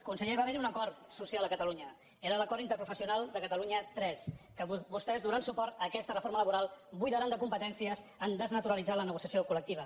conseller va haver·hi un acord social a catalunya era l’acord interprofessional de catalunya iii que vostès donant suport a aquesta re·forma laboral buidaran de competències en desna·turalitzar la negociació col·lectiva